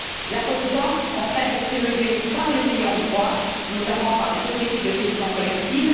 La redevance, au contraire, est prélevée par les ayants droit, notamment par les sociétés de gestion collective